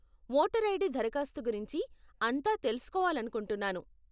Voter ID దరఖాస్తు గురించి అంతా తెలుసుకోవాలనుకుంటున్నాను.